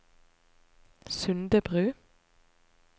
Sundebru